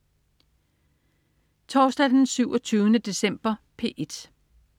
Torsdag den 27. december - P1: